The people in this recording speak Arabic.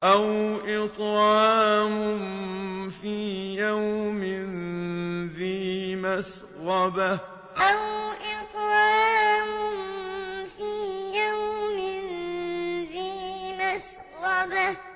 أَوْ إِطْعَامٌ فِي يَوْمٍ ذِي مَسْغَبَةٍ أَوْ إِطْعَامٌ فِي يَوْمٍ ذِي مَسْغَبَةٍ